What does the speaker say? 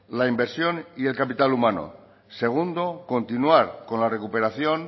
la inversión y el capital humano segundo continuar con la recuperación